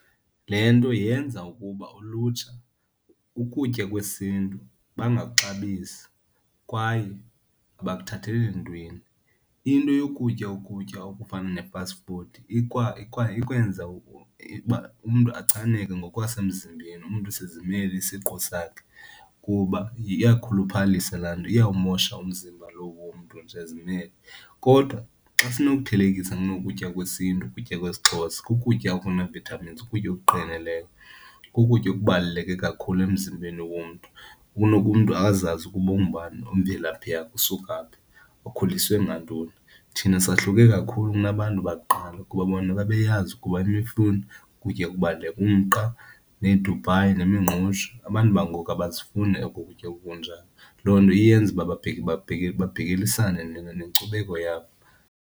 Le nto yenza ukuba ulutsha, ukutya kwesiNtu bangakuxabisi kwaye abakuthatheli ntweni. Into yokutya ukutya okufana ne-fast food ikwenza uba umntu achaneke ngokwasemzimbeni, umntu sizimele isiqu sakhe kuba iyakhuphalisa laa nto, iyawumosha umzimba lowo womntu nje ezimele. Kodwa xa sinokuthelekisa ukutya kwesiNtu, kukutya kwesiXhosa ukutya okunee-vitamins, ukutya , kukutya okubaluleke kakhulu emzimbeni womntu. Kunokuba umntu azazi ukuba ungubani, imvelaphi yakhe, usuka phi, ukhuliswe ngantoni. Thina sahluke kakhulu kunabantu bakuqala kuba bona babeyazi ukuba imifuno kukutya ukubala, umqa needubhayi nemingqusho. Abantu bangoku abazifuni oko kutya okunjalo, loo nto iyenza uba babhekelisane nenkcubeko yabo.